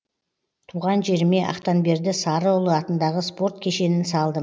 туған жеріме ақтанберді сарыұлы атындағы спорт кешенін салдым